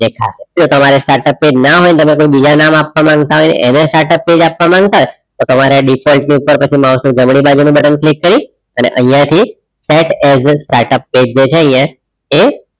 જો તમારે startup page ના હોય તમે કોઈ બીજા નામ આપવા માંગતા હોય એને startup page આપવા માંગતા હોય તમારે default ની ઉપર પછી જઈ mouse નું જમણી બાજુનું set as a startup page જે છે અહિયાં